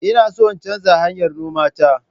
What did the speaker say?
Ina so in canza hanyar noma ta.